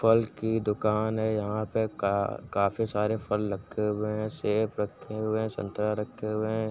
फल की दुकान है। यहाँ पे का काफी सारे फल रखे हुए हैं। सेव रखे हुए हैं संतरा रखे हुए हैं।